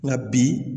Nka bi